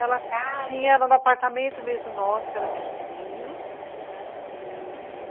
Tinha, era no apartamento mesmo nosso, que era pequenininho, aham, e...